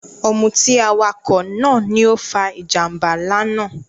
Ọ̀mútì awakọ naà ni o fà ijambà nlá náà